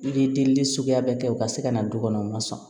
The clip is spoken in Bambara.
I ye deli suguya bɛɛ kɛ u ka se ka na du kɔnɔ u ma sɔn